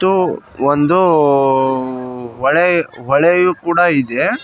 ಇದು ಒಂದು ಹೊಳೆ ಹೊಳೆಯು ಕೂಡ ಇದೆ.